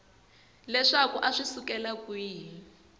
leswaku a swi sukela kwihi